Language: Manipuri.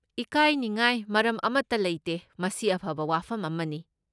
ꯏꯀꯥꯏꯅꯤꯡꯉꯥꯏ ꯃꯔꯝ ꯑꯃꯠꯇ ꯂꯩꯇꯦ, ꯃꯁꯤ ꯑꯐꯕ ꯋꯥꯐꯝ ꯑꯃꯅꯤ꯫